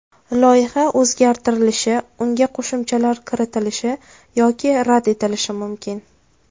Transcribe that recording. Loyiha o‘zgartirilishi, unga qo‘shimchalar kiritilishi yoki rad etilishi mumkin.